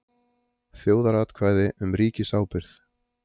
Þjóðaratkvæði um ríkisábyrgð